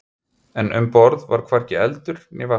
En um borð var hvorki eldur né vatnsdropi.